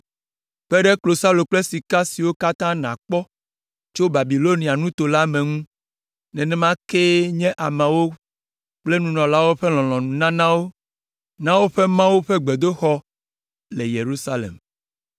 Kpe ɖe klosalo kple sika siwo katã nàkpɔ tso Babilonia nuto la me ŋu, nenema kee nye ameawo kple nunɔlawo ƒe lɔlɔ̃nununanawo na woƒe Mawu ƒe gbedoxɔ le Yerusalem.